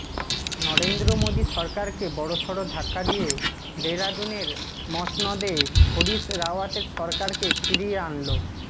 নরেন্দ্র মোদী সরকারকে বড়সড় ধাক্কা দিয়ে দেহরাদূনের মসনদে হরীশ রাওয়াতের সরকারকে ফিরিয়ে আনল